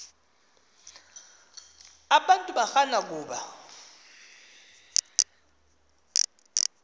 abantu barana kuba